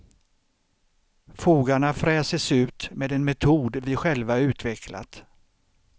Fogarna fräses ut med en metod vi själva utvecklat.